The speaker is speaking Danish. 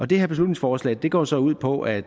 det her beslutningsforslag går så ud på at